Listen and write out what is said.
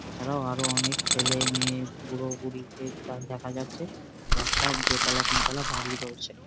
এছাড়াও আরো অনেক ছেলেমেয়ে বুড়ো বুড়ি দেখা যাচ্ছে আর একটা দো তলা তিন তলা বাড়ি রয়েছে।